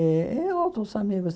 Eh e outros amigos.